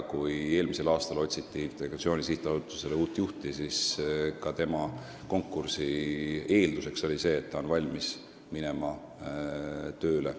Kui eelmisel aastal otsiti Integratsiooni Sihtasutusele uut juhti, siis oli konkursi eelduseks see, et inimene on valmis minema Narva tööle.